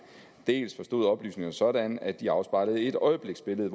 dels forstod oplysningerne sådan at de afspejlede et øjebliksbillede